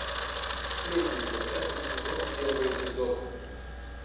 сплетница пятый сезон первый эпизод